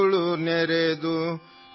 दिन चला गया है और अन्धेरा है